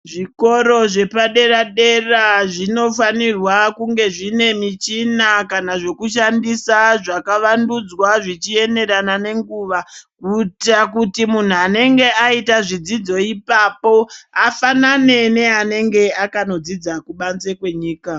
Zvikora zvepadera dera zvinofanirwa kunge zvine michina kana zvekushandisa zvakavandudzwa zvichienderana nenguva kuitira kuti munhu anenge aita zvidzidzo ipapo afanane neanenge akadzidza kubanzee kwenyika.